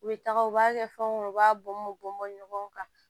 U bɛ taga u b'a kɛ fɛnw kɔnɔ u b'a bɔn bɔn bɔ ɲɔgɔn kan